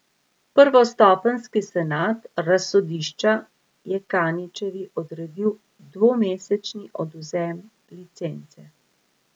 Prvostopenjski senat razsodišča je Kaničevi odredil dvomesečni odvzem licence.